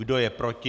Kdo je proti?